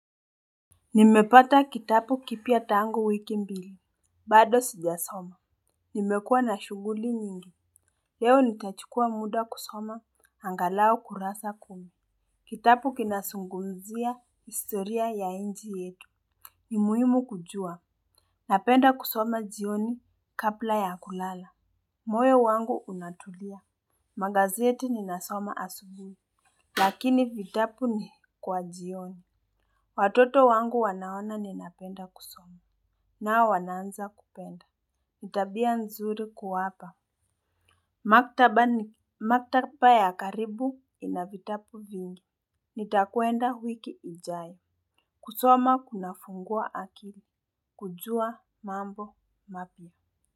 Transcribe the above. Nimepata kitabu kipya tangu wiki mbili. Bado sijasoma. Nimekuwa na shuguli nyingi. Leo nitachukua muda kusoma angalau kurasa kumi. Kitabu kinazungumzia historia ya nchi yetu. Ni muhimu kujua. Napenda kusoma jioni kabla ya kulala. Moyo wangu unatulia. Magazeti ninasoma asubu. Lakini vitabu ni kwa jioni. Watoto wangu wanaona ninapenda kusoma. Nao wanaanza kupenda. Ni tabia nzuri kuwapa. Maktaba ni maktaba ya karibu ina vitabu vingi. Nitakwenda wiki ijayo. Kusoma kunafungua akili. Kujua mambo mapua.